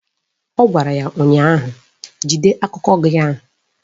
Ọ gwara ya ụnyaahụ "Jide akụkọ gị ahụ"!